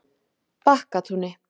Bakkatúni